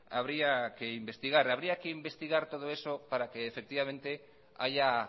habría que investigar habría que investigar todo eso para que efectivamente haya